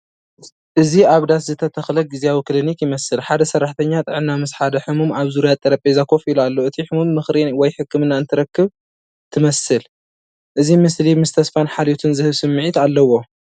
እዚ ኣብ ዳስ ዝተተኽለ ግዝያዊ ክሊኒክ ይመስል። ሓደ ሰራሕተኛ ጥዕና ምስ ሓደ ሕሙም ኣብ ዙርያ ጠረጴዛ ኮፍ ኢሉ ኣሎ። እቲ ሕሙም ምኽሪ ወይ ሕክምና እትረክብ ትመስል። እዚ ምስሊ ምስ ተስፋን ሓልዮትን ዝህብ ስምዒት ዘለዎ እዩ።